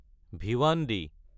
Bhiwandi